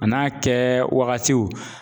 A n'a kɛwagatiw